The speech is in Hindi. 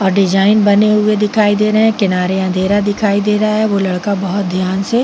और डिज़ाइन बने हुए दिखाई दे रहेहै। किनारे अँधेरा दिखाई दे रहा है। वो लड़का बोहोत ध्यान से--